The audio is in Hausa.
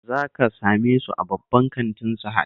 Za ka same su a babban kantin Sahad